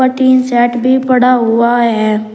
Tin set भी पड़ा हुआ है।